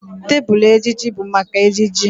Tebụl ejiji bụ maka ejiji